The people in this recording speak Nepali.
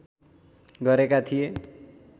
गरेका थिए